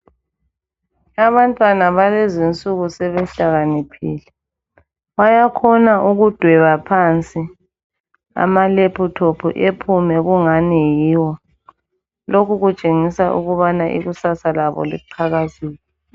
Abantwana balezi insuku sebehlakaniphile, bayakhona ukudweba phansi amalephuthophu ephume kungani yiwo. Lokhu kutshengisa ukubana ikusasa labo liqhakazile.